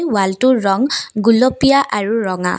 ৱালটোৰ ৰং গুলপীয়া আৰু ৰঙা।